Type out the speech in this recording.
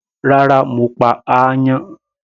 Rárá, mo pa áyán.